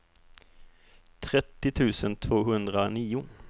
trettio tusen tvåhundranio